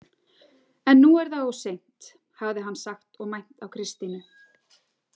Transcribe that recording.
En nú er það of seint, hafði hann sagt og mænt á Kristínu.